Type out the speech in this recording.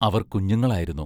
അവർ കുഞ്ഞുങ്ങളായിരുന്നു.